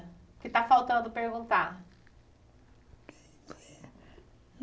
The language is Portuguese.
Que está faltando perguntar.